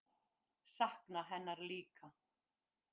Sakna hennar líka.